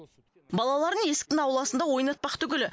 балаларын есіктің ауласында ойнатпақ түгілі